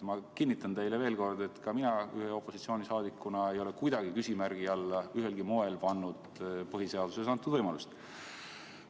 Ma kinnitan teile veel kord, et ka mina opositsiooni liikmena ei ole kuidagi ühelgi moel küsimärgi alla pannud põhiseaduses antud võimalusi.